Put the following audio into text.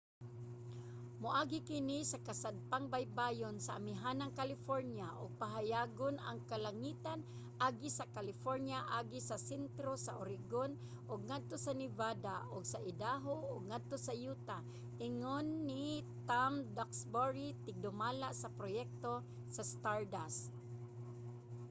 "moagi kini sa kasadpang baybayon sa amihanang california ug pahayagon ang kalangitan agi sa california agi sa sentro sa oregon ug ngadto sa nevada ug idaho ug ngadto sa utah, ingon ni tom duxbury tigdumala sa proyekto sa stardust